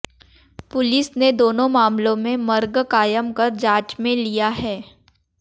police ने दोनों मामलों में मर्ग कायम कर जांच में लिया है